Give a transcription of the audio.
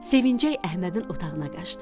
Sevincək Əhmədin otağına qaçdı.